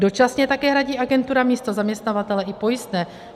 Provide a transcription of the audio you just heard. Dočasně také hradí agentura místo zaměstnavatele i pojistné.